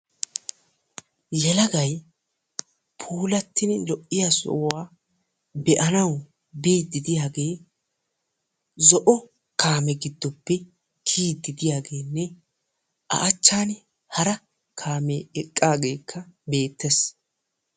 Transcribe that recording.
Yelagay puulattidi lo"iyaa sohuwaa be'anawu biidi de'iyaagee zo'o kaame giddoppe kiyiidi de'iyaageenne a achchan hara kaamee eqqageekka beettees.